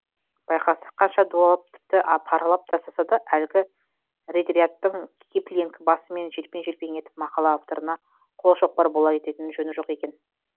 байқасақ қанша дуалап тіпті паралап тастаса да әлгі редьярдтың киплинг басымен желпең желпең етіп мақала авторына қолшоқпар бола кететін жөні жоқ екен